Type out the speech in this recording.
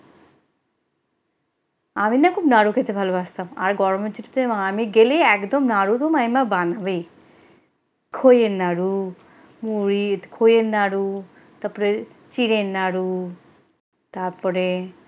আমিনা খুব নাড়ু খেতে ভালবাসতাম আর গরমের ছুটিতে আমি গেলেই একদম নাড়ু তো মামিমা বানাবেই খইয়ের নাড়ু মুড়ির খইয়ের নাড়ু তারপরে চিড়ের নাড়ু তারপরে,